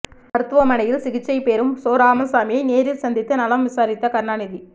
மருத்துவமனையில் சிகிச்சை பெறும் சோ ராமசாமியை நேரில் சந்தித்து நலம் விசாரித்த கருணாநிதி